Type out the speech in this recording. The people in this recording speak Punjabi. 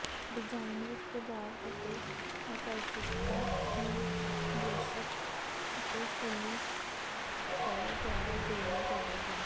ਡਿਜ਼ਾਈਨ ਵਿਚ ਪ੍ਰਭਾਵ ਅਤੇ ਆਕਰਸ਼ਿਤਤਾ ਨੂੰ ਵਿਅੱਸਤ ਅਤੇ ਫੁੱਲੀ ਫਰ ਦੁਆਰਾ ਜੋੜਿਆ ਜਾਵੇਗਾ